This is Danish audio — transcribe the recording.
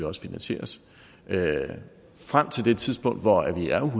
også finansieres frem til det tidspunkt hvor